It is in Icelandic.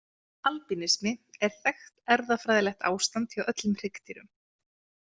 Albínismi er þekkt erfðafræðilegt ástand hjá öllum hryggdýrum.